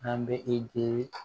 An bɛ i jigi